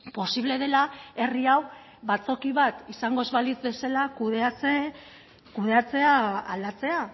posible dela herri hau batzoki bat izango ez balitz bezala kudeatzea aldatzea